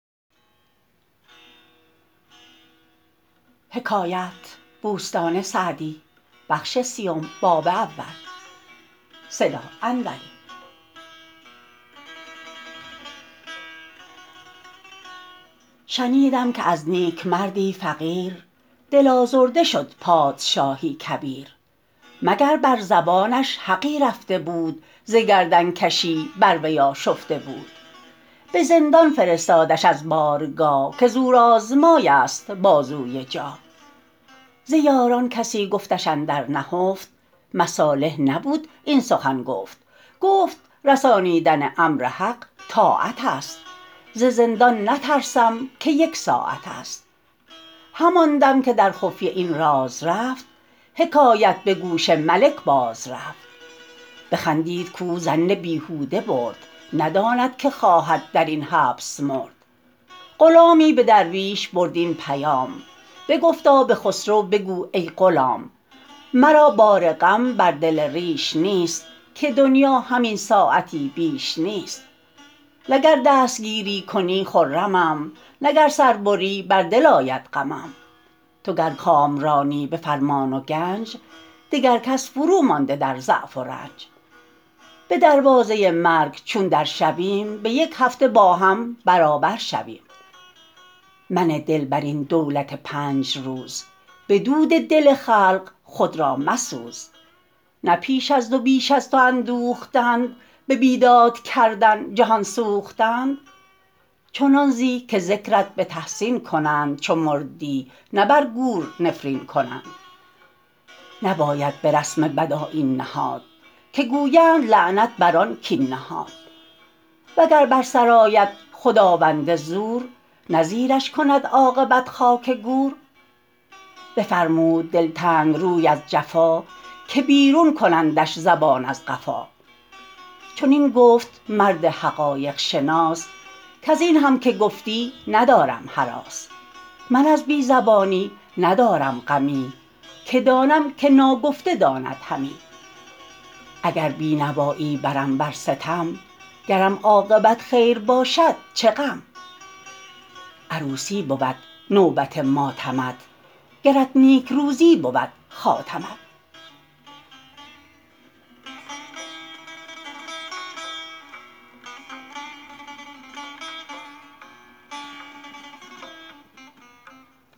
شنیدم که از نیکمردی فقیر دل آزرده شد پادشاهی کبیر مگر بر زبانش حقی رفته بود ز گردن کشی بر وی آشفته بود به زندان فرستادش از بارگاه که زورآزمای است بازوی جاه ز یاران کسی گفتش اندر نهفت مصالح نبود این سخن گفت گفت رسانیدن امر حق طاعت است ز زندان نترسم که یک ساعت است همان دم که در خفیه این راز رفت حکایت به گوش ملک باز رفت بخندید کاو ظن بیهوده برد نداند که خواهد در این حبس مرد غلامی به درویش برد این پیام بگفتا به خسرو بگو ای غلام مرا بار غم بر دل ریش نیست که دنیا همین ساعتی بیش نیست نه گر دستگیری کنی خرمم نه گر سر بری بر دل آید غمم تو گر کامرانی به فرمان و گنج دگر کس فرومانده در ضعف و رنج به دروازه مرگ چون در شویم به یک هفته با هم برابر شویم منه دل بر این دولت پنج روز به دود دل خلق خود را مسوز نه پیش از تو بیش از تو اندوختند به بیداد کردن جهان سوختند چنان زی که ذکرت به تحسین کنند چو مردی نه بر گور نفرین کنند نباید به رسم بد آیین نهاد که گویند لعنت بر آن کاین نهاد وگر بر سرآید خداوند زور نه زیرش کند عاقبت خاک گور بفرمود دلتنگ روی از جفا که بیرون کنندش زبان از قفا چنین گفت مرد حقایق شناس کز این هم که گفتی ندارم هراس من از بی زبانی ندارم غمی که دانم که ناگفته داند همی اگر بینوایی برم ور ستم گرم عاقبت خیر باشد چه غم عروسی بود نوبت ماتمت گرت نیکروزی بود خاتمت